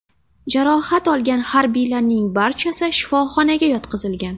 Jarohat olgan harbiylarning barchasi shifoxonaga yotqizilgan.